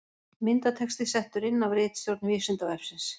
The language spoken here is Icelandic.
Myndatexti settur inn af ritstjórn Vísindavefsins.